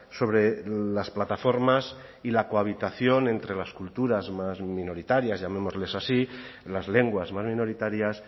sobre las plataformas y la cohabitación entre las culturas más minoritarias llamémosles así las lenguas más minoritarias